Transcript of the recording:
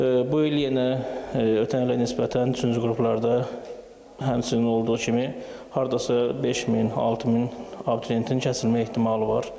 Bu il yenə ötən ilə nisbətən üçüncü qruplarda həmçinin olduğu kimi hardasa 5000, 6000 abituriyentin kəsilmə ehtimalı var.